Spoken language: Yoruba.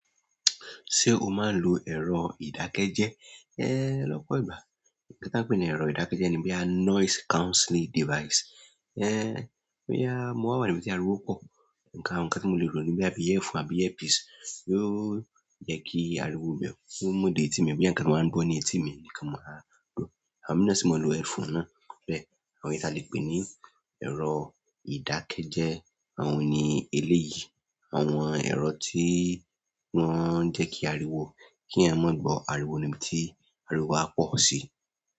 Sé o máa ń lo ẹ̀rọ ìdákẹ́jẹ́? Ẹ lọ́pọ̀ ìgbà. Ǹkan tí a ń pè ní ẹ̀rọ ìdákẹ́jẹ́ẹ́ ni bóyá noise cancelling device. Bóyá mo wà níbi tí ariwo pọ̀, ǹkan tí mo lè rò ni bóyá bí earphone àbí earpiece yóò jẹ́ kí ariwo mìíràn ó mú dé etí mi, bí à ǹkan tí wọ́n ń gbọ́ ní etí mi nìkan mo máa gbọ́. Àwọn mìíràn sì máa ń lo earphone náà. Bẹ́ẹ̀ àwọn èyí ta lè pè ní ẹ̀rọ ìdákẹ́jẹ́. Àwọn òní eléyìí, àwọn ẹ̀rọ tí wọ́n ń jẹ́ kí ariwo, kí èèyàn má gbo ariwo níbi tí ariwo bá pọ̀ sí.